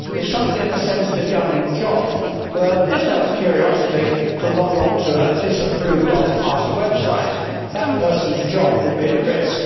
If somebody in a sensitive government job were, just out of curiosity, to log onto a website disapproved of by a party, that person's job would be at risk.